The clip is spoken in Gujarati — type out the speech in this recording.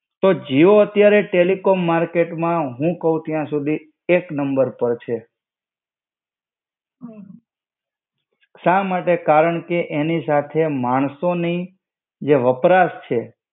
તો જીઓ અત્યારે ટેલિકોમ માર્કેટમાં, હું કવ ત્યાંસુધી એક નંબર પાર છે. સા માટે? કારણકે એની સાથે માણસોની જે વપરાશ છે.